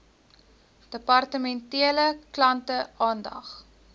departementele klante aandag